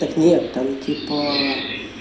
так нет там типа